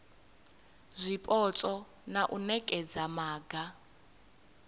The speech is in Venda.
zwipotso na u nekedza maga